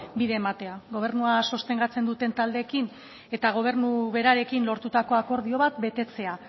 bide ematea gobernua sostengatzen duten taldeekin eta gobernu berarekin lortutako akordio bat betetzea